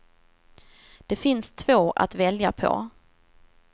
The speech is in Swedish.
Det finns två att välja på.